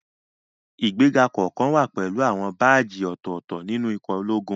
Ìgbéga kọ̀ọ̀kan wá pẹ̀lú àwọn báàjì ọ̀tọ̀ọ̀tọ̀ nínú ikọ̀ ológun